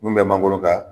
Mun bɛ mangoro ka